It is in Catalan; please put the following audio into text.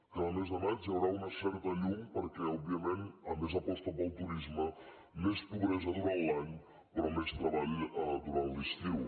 cada mes de maig hi haurà una certa llum perquè òbviament a més aposta pel turisme més pobresa durant l’any però més treball durant l’estiu